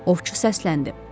Ovçu səsləndi.